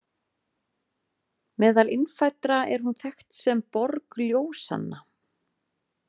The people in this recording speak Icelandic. Meðal innfæddra er hún þekkt sem „borg ljósanna“.